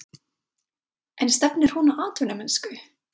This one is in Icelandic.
En stefnir hún á atvinnumennsku?